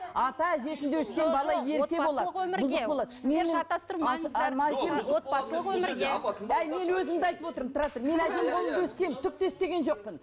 мен әжемнің қолында өскенмін түк те істеген жоқпын